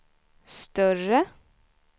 större